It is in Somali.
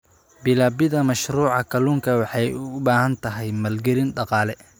Bilaabida mashruuca kalluunku waxa ay u baahan tahay maalgelin dhaqaale.